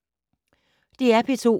DR P2